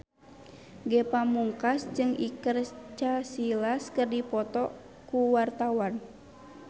Ge Pamungkas jeung Iker Casillas keur dipoto ku wartawan